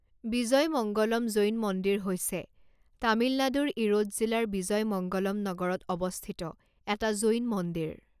বিজয়মঙ্গলম জৈন মন্দিৰ হৈছে তামিলনাডুৰ ইৰোড জিলাৰ বিজয়মঙ্গলম নগৰত অৱস্থিত এটা জৈন মন্দিৰ।